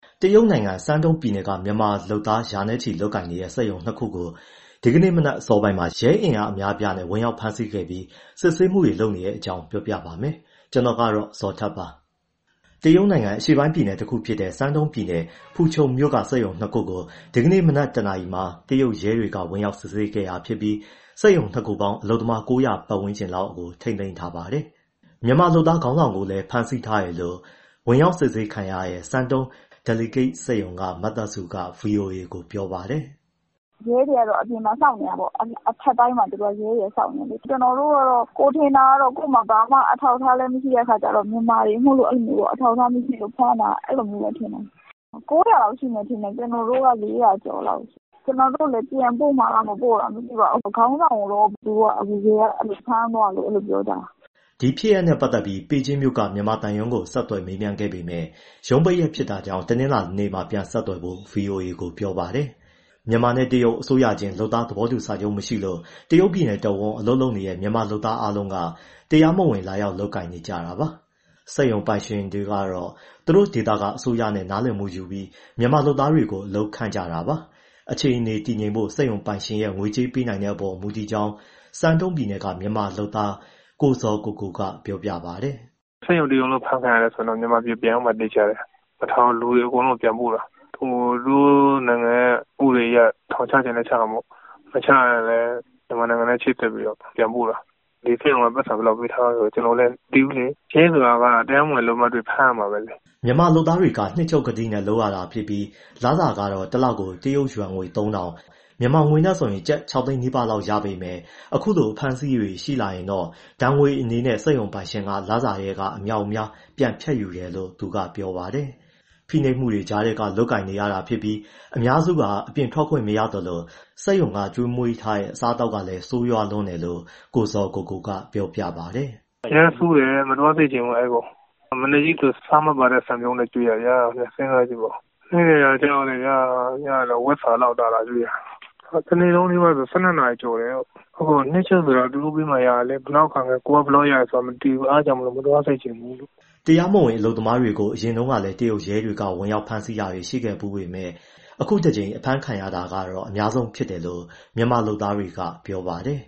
တရုတ်နိုင်ငံ Shandong ပြည်နယ်က မြန်မာလုပ်သားရာချီ လုပ်ကိုင်နေတဲ့ စက်ရုံ ၂ ခုကို ဒီကနေ့မနက် အစောပိုင်းမှာ ရဲအင်အား အများအပြားနဲ့ ဝင်ရောက်ဖမ်းဆီးခဲ့ပြီး စစ်ဆေးမှုတွေ လုပ်နေပါတယ်။ အပြည့်အစုံကို ကိုဇော်ထက် တင်ပြပေးထားပါတယ်။ တရုတ်နိုင်ငံ အရှေ့ပိုင်းပြည်နယ်တခုဖြစ်တဲ့ Shandong ပြည်နယ်၊ ဖူချုံမြို့က စက်ရုံ ၂ ခုကို ဒီကနေ့မနက် ၁ နာရီမှာ တရုတ်ရဲတွေက ဝင်ရောက်စစ်ဆေးခဲ့တာ ဖြစ်ပြီး စက်ရုံ ၂ ခုပေါင်း အလုပ်သမား ၉၀၀ ပတ်ဝန်းကျင်လောက်ကို ထိန်းသိမ်းထားပါတယ်။ မြန်မာအလုပ်သမား ခေါင်းဆောင်ကိုလည်း ဖမ်းဆီးထားတယ်လို့ ဝင်ရောက်စစ်ဆေးခံရတဲ့ Shandong Delicate စက်ရုံက မသက်စုက ဗွီအိုအေကို ပြောပါတယ်။ “ရဲတွေကတော့ အပြင်မှာ စောင့်နေတာပေါ့။ အထပ်တိုင်းမှာ ရဲတွေက စောင့်နေတာ။ ကျနော်တို့ကတော့ ကိုယ်ထင်တာ ကိုယ့်မှာ ဘာမှ အထောက်အထားလည်း မရှိတဲ့အခါကျတော့ မြန်မာတွေမို့လို့ အဲလိုမျိုး အထောက်အထား မရှိလို့ ဖမ်းတာလို့ထင်တယ်။ နှစ်ရုံပေါင်း ၉၀၀ လောက်ရှိမယ်၊ ကျနော်တို့က ၄၀၀ ကျော်လောက်။ ပြန်ပို့မှာလား မပို့မှာလား မသိပါဘူး။ ခေါင်းဆောင်ကိုတော့ သူတို့က ရဲက ဖမ်းသွားတယ်လို့ ပြောကြတယ်။” ဒီဖြစ်ရပ်နဲ့ပတ်သက်ပြီး ဘေဂျင်းမြို့က မြန်မာသံရုံးကို ဆက်သွယ်မေးမြန်းခဲ့ပေမယ့် ရုံးပိတ်ရက်ဖြစ်တာကြောင့် တနင်္လာနေ့မှ ပြန်ဆက်သွယ်ဖို့ ဗွီအိုအေကို ပြောပါတယ်။ မြန်မာနဲ့ တရုတ် အစိုးရချင်း လုပ်သားသဘောတူစာချုပ် မရှိလို့ တရုတ်ပြည်နယ်တဝန်း အလုပ်လုပ်နေတဲ့ မြန်မာလုပ်သားအားလုံးက တရားမဝင် လာရောက် လုပ်ကိုင်နေကြတာပါ။ စက်ရုံပိုင်ရှင်တွေကတော့ သူတို့ဒေသ အစိုးရနဲ့ နားလည်မှုယူပြီး မြန်မာလုပ်သားတွေကို အလုပ်ခန့်ကြတာပါ။ အခြေအနေ တည်ငြိမ်ဖို့ စက်ရုံပိုင်ရှင်ရဲ့ ငွေကြေးပေးနိုင်တဲ့အပေါ် မူတည်ကြောင်း Shandong ပြည်နယ်က မြန်မာအလုပ်သမား ကိုဇော်ကိုကိုက ပြောပါတယ်။ “စက်ရုံတရုံလုံး အဖမ်းခံရတယ်ဆိုရင်တော့ မြန်မာပြည် ပြန်ရောက်မှာ သေချာတယ်၊ မထားဘူး၊ လူတွေအကုန်လုံးကို ပြန်ပို့တာ။ သူတို့နိုင်ငံရဲ့ ဥပဒေအရ ထောင်ချချင်လည်း ချတာပေါ့။ မချရင်လည်း မြန်မာနိုင်ငံနဲ့ ချိတ်ဆက်ပြီး ပြန်ပို့တာ။ ဒီစက်ရုံက ပိုက်ဆံဘယ်လောက်ပေးထားတယ်၊ ကျနော်လည်း မသိဘူးလေ။ ရဲဆိုတာ တရားမဝင် အလုပ်သမားတွေ့ ဖမ်းရတာပဲလေ။” မြန်မာလုပ်သားတွေက နှစ်ချုပ်ကတိနဲ့ လုပ်ရတာဖြစ်ပြီး လစာကတော့ တလကို တရုတ်ယွမ်ငွေ ၃,၀၀၀၊ မြန်မာငွေနဲ့ဆို ကျပ် ၆ သိန်းနီးပါးလောက်ပဲ ရပေမယ့် အခုလို အဖမ်းအဆီးတွေ ရှိလာရင် ဒဏ်ငွေအနေနဲ့ စက်ရုံပိုင်ရှင်က လစာထဲက အမြောက်အမြား ပြန်ဖြတ်ယူတယ်လို့ သူက ဆက်ပြောပါတယ်။ ဖိနှိပ်မှုတွေကြားထဲက လုပ်ကိုင်နေရတာဖြစ်ပြီး အများစုဟာ အပြင်ထွက်ခွင့် မရသလို စက်ရုံကကျွေးမွေးတဲ့ အစားအသောက်ကလည်း ဆိုးရွားလွန်းတယ်လို့ ကိုဇော်ကိုကိုက ပြောပါတယ်။ “အရမ်းဆိုးတယ်၊ မသွားစေချင်ဘူး အဲဒီကို။ မနက်ဆို ဆားမပါတဲ့ ဆန်ပြုတ်နဲ့ ကျွေးတာဗျာ စဉ်းစားကြည့်ပါဦး၊ ဟင်းတွေကလည်း ဝက်စာလောက်သာသာ ကျွေးတာ။ တနေ့လုံးနီးပါးဆို လုပ်ရတာ ၁၂ နာရီကျော်တယ်။ နှစ်ချုပ်ဆိုတာ သူတို့ပေးမှ ရတာလေ၊ ဘယ်လောက်ရတယ်ဆိုတာ မသိဘူး။ အဲဒါကြောင့်မို့ မသွားစေချင်ဘူး။” တရားမဝင် အလုပ်သမားတွေကို အရင်တုန်းကလည်း တရုတ်ရဲတပ်ဖွဲ့က ဝင်ဖမ်းတာတွေ ရှိခဲ့ဖူးပေမယ့် အခုတကြိမ် အဖမ်းခံရတာ အများဆုံးဖြစ်တယ်လို့ မြန်မာလုပ်သားတွေက ပြောပါတယ်